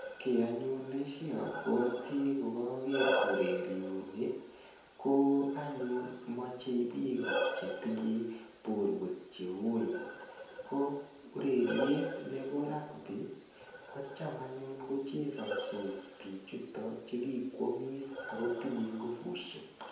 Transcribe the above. Ki anyun ne shapwati ngaker ureriani ko anyun mache piko che tinyo potwek cheooen. Ko ureriet nepo rugby ko cham anyun kochesandos pichutok che kiko amis ako tinye nguvushek.